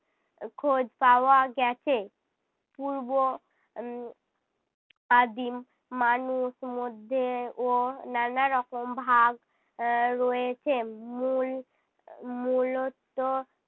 খোঁজ পাওয়া গেছে পূর্ব উম আদিম মানুষ মধ্যে ও নানারকম ভাগ এর রয়েছে মূল মূলত